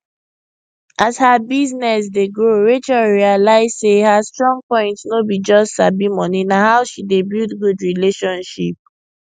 as her business dey grow rachel realize say her strong point no be just sabi moneyna how she dey build good relationship